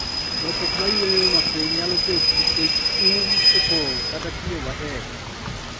Lokruok mar yueyo mapiny nyalo bet nikech um opong' kata tiyo matek